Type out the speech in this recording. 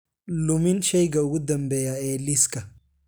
lumin shayga ugu dambeeya ee liiska